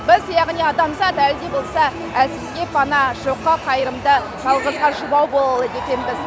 біз яғни адамзат әлі де болса әлсізге пана жоққа қайырымды жалғызға жұбау бола алады екенбіз